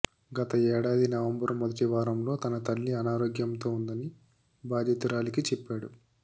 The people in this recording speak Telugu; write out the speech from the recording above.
గత ఏడాది నవంబరు మొదటి వారంలో తన తల్లి అనారోగ్యంతో ఉందని బాధితురాలికి చెప్పాడు